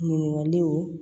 Ɲininkaliw